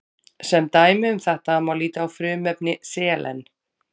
Sem dæmi um þetta má líta á frumefni selen.